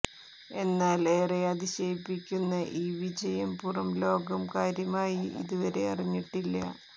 എന്നാൽ ഏറെ അതിശയിപ്പിക്കുന്ന ഈ വിജയം പുറം ലോകം കാര്യമായി ഇതുവരെ അറിഞ്ഞിട്ടില്ല